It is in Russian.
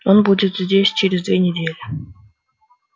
он будет здесь через две недели